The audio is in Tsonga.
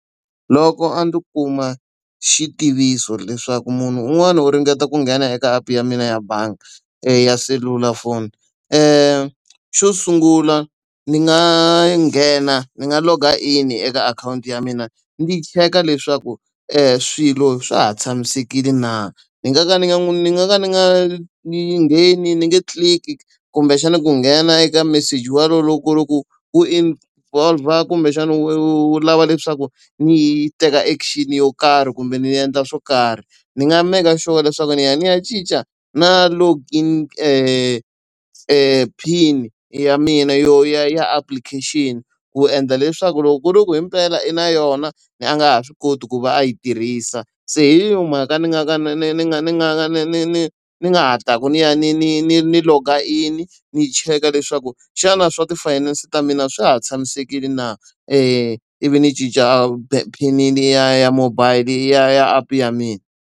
Loko a ndzi kuma xitiviso leswaku munhu un'wana u ringeta ku nghena eka app ya mina ya bangi ya selulafoni. Xo sungula ni nga nghena ni nga log-a in eka akhawunti ya mina ndzi cheka leswaku swilo swa ha tshamisekile na. Ni nga ka ni nga ni nga ka ni ngheni ni nge tliliki kumbexana ku nghena eka meseji walowo loko ku hi ku wu involve-a kumbexana wu wu lava leswaku ni yi teka action-i yo karhi kumbe ni ni endla swo karhi. Ndzi nga maka sure leswaku ni ya ni ya cinca na login PIN-i ya mina yo ya ya application-i, ku endla leswaku loko ku ri ku himpela i na yona, a nga ha swi koti ku va a yi tirhisa. Se hi yona mhaka ndzi nga ka ni ni ni nga ni nga ni ni ni ndzi nga hatlaka ni ya ni ni ni ni log-a in-i ni, cheka leswaku xana swa ti-finance ta mina swa ha tshamisekile na. Ivi ni cinca PIN-i ya ya mobile ya ya app ya mina.